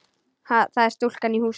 Það er stúlkan í húsinu.